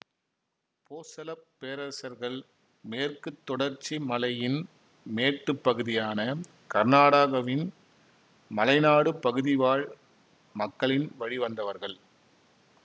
போசள பேரரசர்கள் மேற்கு தொடர்ச்சி மலையின் மேட்டுப் பகுதியான கர்நாடகவின் மலைநாடு பகுதிவாழ் மக்களின் வழிவந்தவர்கள்